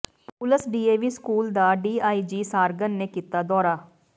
ਪੁਲਸ DAV school ਦਾ DIG Sarangan ਨੇ ਕੀਤਾ ਦੌਰਾ